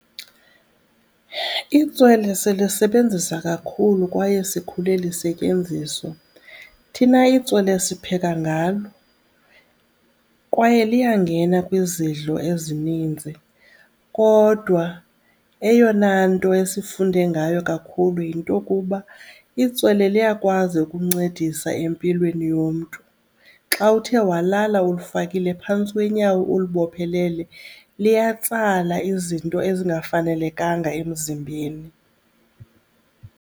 Itswele silisebenzisa kakhulu kwaye sikhule lisetyenziswa. Thina itswele sipheka ngalo kwaye liyangena kwizidlo ezininzi. Kodwa eyona nto esifunde ngayo kakhulu yinto yokuba itswele liyakwazi ukuncedisa empilweni yomntu. Xa uthe walala ulifakile phantsi kweenyawo ulibophelele liyatsala izinto ezingafanelekanga emzimbeni.